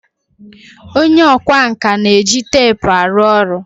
onye ọkwá nkà na-eji teepu arụ ọrụ